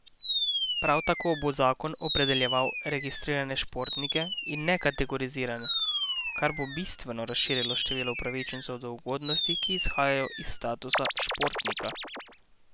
Prav tako bo zakon opredeljeval registrirane športnike in ne kategorizirane, kar bo bistveno razširilo število upravičencev do ugodnosti, ki izhajajo iz statusa športnika.